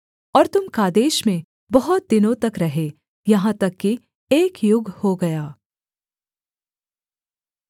और तुम कादेश में बहुत दिनों तक रहे यहाँ तक कि एक युग हो गया